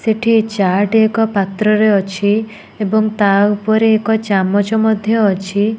ସେଠି ଚାଟ୍ ଏକ ପାତ୍ରରେ ଅଛି ଏବଂ ତା ଉପରେ ଏକ ଚାମଚ ମଧ୍ଯ ଅଛି।